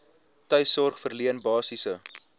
tuissorg verleen basiese